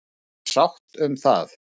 Er sátt um það?